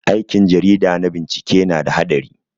Aikin jarida na bincike na da haɗari.